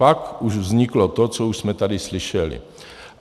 Pak už vzniklo to, co už jsme tady slyšeli.